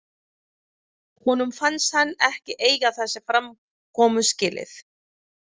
Honum fannst hann ekki eiga þessa framkomu skilið.